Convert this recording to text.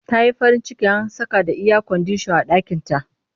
Ta yi farin ciki an saka da iyakwandisah a ɗakinta